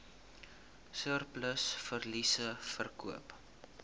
surplus verliese verkoop